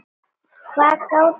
Hvað gátum við sagt?